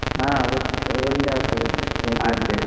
ಹ ಓ~ ಒಳ್ಳೆ ಆಗ್ತಾದೆ .